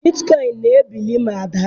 bitcoin na-ebili ma daa.